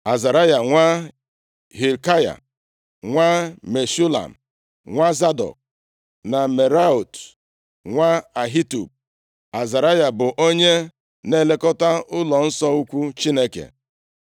Azaraya nwa Hilkaya, nwa Meshulam, nwa Zadọk, na Meraiot, nwa Ahitub. Azaraya bụ onye na-elekọta ụlọnsọ ukwu Chineke.